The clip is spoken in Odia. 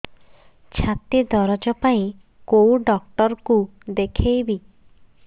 ଛାତି ଦରଜ ପାଇଁ କୋଉ ଡକ୍ଟର କୁ ଦେଖେଇବି